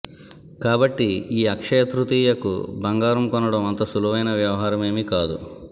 కాబట్టి ఈ అక్షయ తృతీయకు బంగారం కొనడం అంత సులువైన వ్యవహారమేమీ కాదు